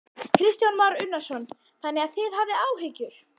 Kristján Már Unnarsson: Þannig að þið hafið áhyggjur?